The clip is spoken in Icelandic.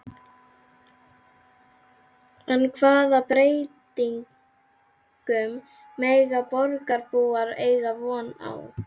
En hvaða breytingum mega borgarbúar eiga von á?